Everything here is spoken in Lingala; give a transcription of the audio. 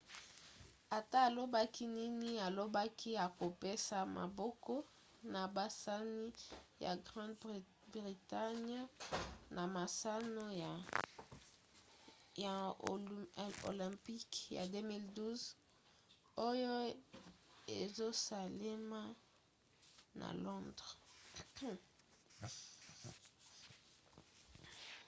ata alobaki nini alobaki akopesa maboko na basani ya grande-bretagne na masano ya olympic ya 2012 oyo ezosalema na londres